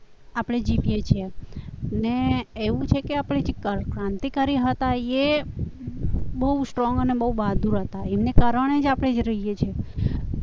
આપણે જીતીએ છીએ ને એવું છે કે આપણા જે ક્રાંતિકારી હતા એ બહુ સ્ટ્રોંગ અને બહુ બાદ હતા એમને કારણે જ આપણે રહી શકીએ છીએ